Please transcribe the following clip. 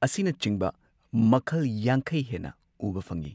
ꯑꯁꯤꯅꯆꯤꯡꯕ ꯃꯈꯜ ꯌꯥꯡꯈꯩ ꯍꯦꯟꯅ ꯎꯕ ꯐꯪꯉꯤ꯫